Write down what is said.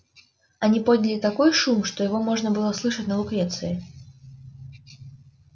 они подняли такой шум что его можно было слышать на лукреции